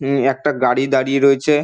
উম একটা গাড়ি দাঁড়িয়ে রয়েচে।